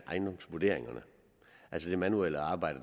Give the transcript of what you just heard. ejendomsvurderingerne altså det manuelle arbejde